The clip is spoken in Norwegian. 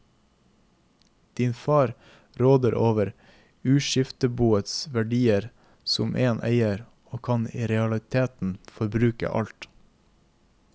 Din far råder over uskifteboets verdier som en eier, og kan i realiteten forbruke alt.